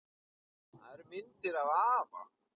Það eru myndir af afa